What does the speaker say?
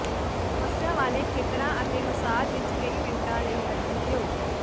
ਸਮੱਸਿਆ ਵਾਲੇ ਖੇਤਰਾਂ ਅਤੇ ਮਸਾਜ ਵਿੱਚ ਕਈ ਮਿੰਟਾਂ ਲਈ ਅਰਜ਼ੀ ਦਿਓ